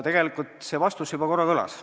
Tegelikult see vastus juba korra kõlas.